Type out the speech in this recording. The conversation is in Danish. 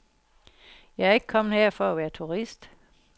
Jeg er ikke kommet her for at være turist.